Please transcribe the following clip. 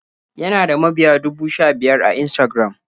Yana da mabiya dubu sha-biyar a Instagram.